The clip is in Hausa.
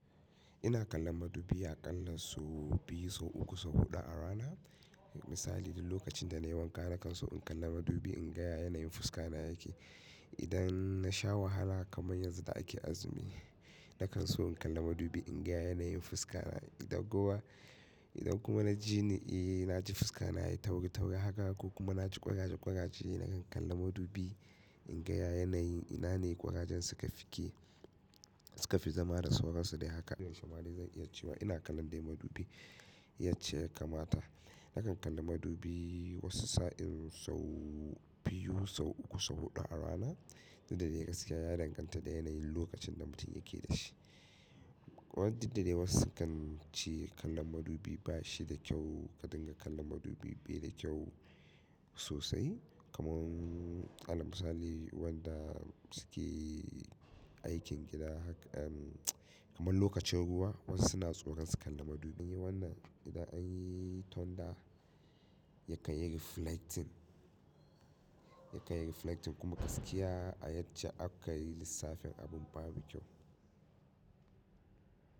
Ina kallon madubi aƙalla sau biyu, sau uku, sau huɗu a rana. Misali, duk lokacin da na yi wanka na kan so in kalla madubi in ga ya yanayin fuska na yake. Idan na sha wahala kamar yanzu da ake azumi, na kan so in kalla madubi in ga ya yanayin fuska na. Idan kuma, idan kuma na ji ni, eh na ji fuska na yi tauri tauri haka ko kuma na ji ƙwaraje ƙwaraje, na kan kalla madubi in ga yanayin ina ne ƙwarajen suka fike, suka fi zama da sauransu dai haka ɗumshumari zan iya cewa ina kallon dai madubi yace kamata. Na kan kalla madubi wasu sa'in sau biyu, sau uku, sau huɗu a rana. Duk da dai gaskiya ya danganta da yanayin lokacin da mutum yake da shi. Ba duk da dai wasu kan ce kallon madubi ba shi da kyau, ka dinga kallon madubi bai da kyau sosai. Kamar, alal misali, waɗanda suke aikin gida haka, kamar lokacin ruwa wasu suna tsoron su kalla madubi. Wannan idan anyi tonda yakan yi reflecting, yakan yi reflecting kuma gaskiya a yace aka yi lissafin abin babu kyau.